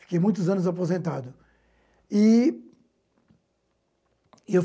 Fiquei muitos anos aposentado. E eu